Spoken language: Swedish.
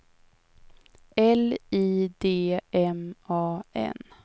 L I D M A N